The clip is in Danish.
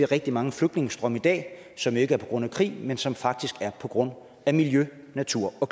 rigtig mange flygtningestrømme i dag som ikke er på grund af krig men som faktisk er på grund af miljø natur og